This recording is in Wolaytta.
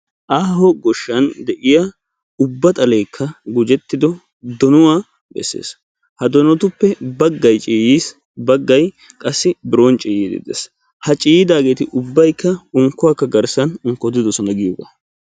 Aaho goshshan de'iyaa ubba xallekka gujettiddo donuwaa bessees, ha donottuppe baggay ciiyyiis baggay qaasi biron ciiyyiiddi de'ees, ha ciiydaageeti ubbaykka unkkuwakka garssan unkkottidosona giyogga.